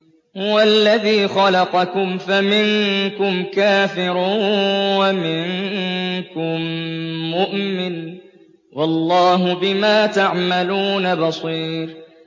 هُوَ الَّذِي خَلَقَكُمْ فَمِنكُمْ كَافِرٌ وَمِنكُم مُّؤْمِنٌ ۚ وَاللَّهُ بِمَا تَعْمَلُونَ بَصِيرٌ